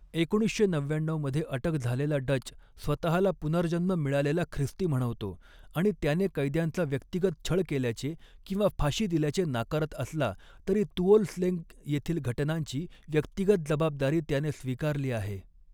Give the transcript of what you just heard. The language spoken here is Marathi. एकोणीसशे नव्याण्णऊ मध्ये अटक झालेला डच स्वतःला पुनर्जन्म मिळालेला ख्रिस्ती म्हणवतो आणि त्याने कैद्यांचा व्यक्तिगत छळ केल्याचे, किंवा फाशी दिल्याचे नाकारत असला, तरी तुओल स्लेंग येथील घटनांची व्यक्तिगत जबाबदारी त्याने स्वीकारली आहे.